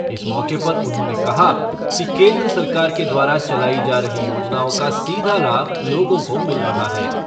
इस मौके पर उन्होंने कहा कि केन्द्र सरकार के द्वारा चलायी जा रही योजनाओं का सीधा लाभ लोगों को मिल रहा है।